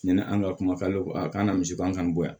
Ɲani an ka kumakan don a kan ka misiban kan yan